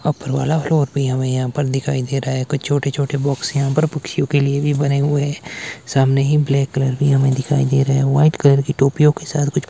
Upper वाला floor भी हमे यहां पर दिखाई दे रहा है। कुछ छोटे छोटे बॉक्स यहां पर पक्षियों के लिए भी बने हुए हैं। सामने ही ब्लैक कलर भी हमें दिखाई दे रहे हैं। व्हाइट कलर की टोपियों के साथ कुछ--